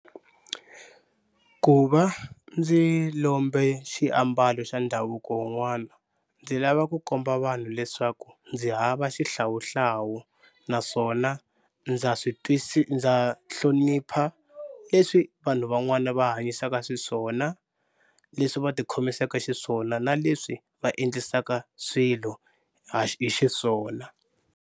Ku va ndzi lombe xiambalo xa ndhavuko wun'wana ndzi lava ku komba vanhu leswaku ndzi hava xihlawuhlawu naswona ndza swi ndza hlonipha leswi vanhu van'wana va hanyisaka xiswona, leswi va ti khomisaka xiswona na leswi va endlisaka swilo hi xiswona.